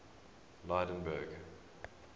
lydenburg